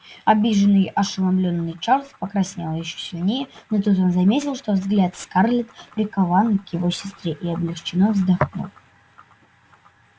обиженный ошеломлённый чарлз покраснел ещё сильнее но тут он заметил что взгляд скарлетт прикован к его сестре и облегчённо вздохнул